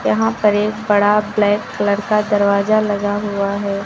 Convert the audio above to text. यहां पर एक बड़ा ब्लैक कलर का दरवाजा लगा हुआ है।